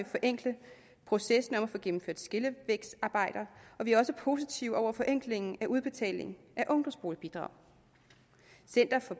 forenkle processen med at få gennemført skillevægsarbejder og vi er også positive over for forenklingen af udbetaling af ungdomsboligbidrag center for